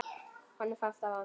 Honum fannst það vont.